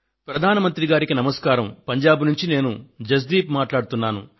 ప్రధాన మంత్రి గారికి నమస్కారం పంజాబ్ నుండి నేను జస్ దీప్ ను మాట్లాడుతున్నాను